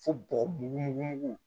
Fo bɔgɔ mugu